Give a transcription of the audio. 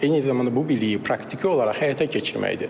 Eyni zamanda bu biliyi praktiki olaraq həyata keçirməkdir.